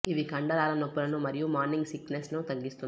ఇవి కండరాల నొప్పులను మరియు మార్నింగ్ సిక్ నెస్ ను తగ్గిస్తుంది